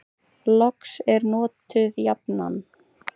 Loks er notuð jafnan: